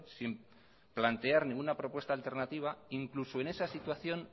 sin plantear ninguna propuesta alternativa incluso en esa situación